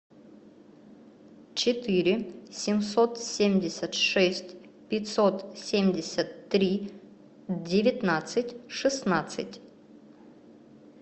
четыре семьсот семьдесят шесть пятьсот семьдесят три девятнадцать шестнадцать